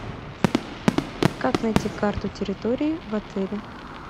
как найти карту территории в отеле